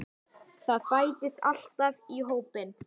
Það bætist alltaf í hópinn.